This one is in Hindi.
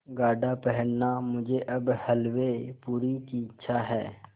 गाढ़ा पहनना मुझे अब हल्वेपूरी की इच्छा है